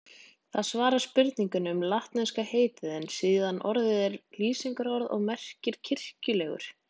Það svarar spurningunni um latneska heitið en síðara orðið er lýsingarorð og merkir kirkjulegur.